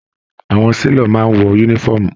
Àwọn selọ̀ máa n wọ yúnífọ̀ọ́mù.